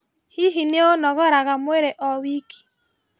Hihi nĩũnogoraga mwĩrĩ o wiki?